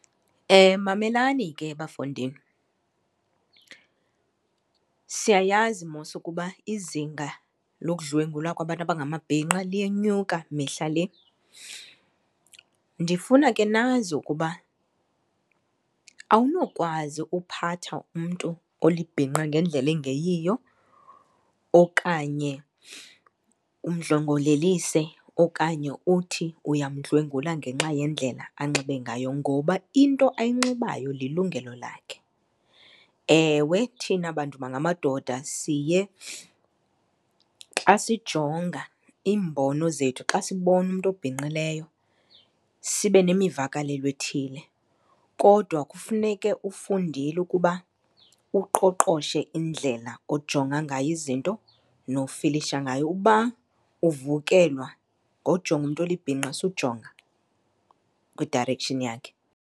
Mamelani ke bafondini, siyayazi mos ukuba izinga lokudlwengulwa kwabantu abangamabhinqa liyenyuka mihla le. Ndifuna ke nazi ukuba awunokwazi uphatha umntu olibhinqa ngendlela engeyiyo okanye umdlongolelise okanye uthi uyamdlwengula ngenxa yendlela anxibe ngayo ngoba into ayinxibayo lilungelo lakhe. Ewe thina bantu bangamadoda siye xa sijonga, iimbono zethu xa sibona umntu obhinqileyo sibe nemivakalelo ethile, kodwa kufuneke ufundile ukuba uqoqoshe indlela ojonga ngayo izinto nofilisha ngayo. Uba uvukelwa ngojonga umntu olibhinqa sujonga kwi-direction yakhe.